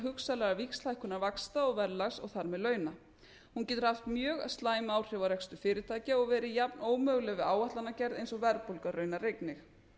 hugsanlegra víxlhækkunar vaxta og verðlags og þar með launa hún getur haft mjög slæm áhrif á rekstur fyrirtækja og verið jafn ómöguleg við áætlanagerð eins og verðbólgan raunar einnig